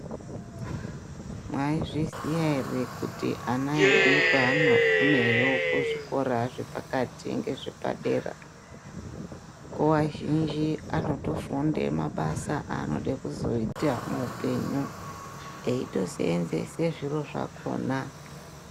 Mwaizviziya ere kuti ana edu paanogumeyo kuzvikora zvepakati ngezvepadera nguva zhinji anotofunde mabasa aanode kuzoita muupenyu eito seenzese zviro zvakhona.